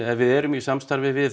við erum í samstarfi við